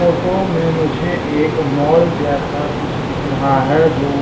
photo में मुझे एक मॉल जैसा कुछ दिख रहा है जो--